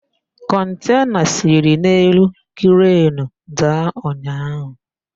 Kọntena siri n'elu krenu daa ụnyaahụ.